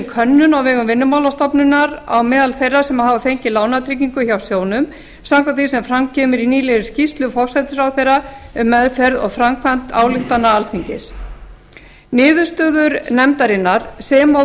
könnun á vegum vinnumálastofnunar á meðal þeirra sem hafa fengið lánatryggingu hjá sjóðnum samkvæmt því sem fram kemur í nýlegri skýrslu forsætisráðherra um meðferð og framkvæmd ályktana alþingis niðurstöður nefndarinnar sem og